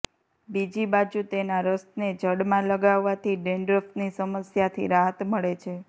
બીજી બાજુ તેના રસને જડમાં લગાવવાથી ડેંડ્રફની સમસ્યાથી રાહત મળે છે